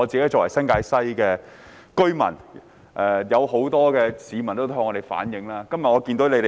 我作為新界西的居民，很多市民都曾向我反映這問題。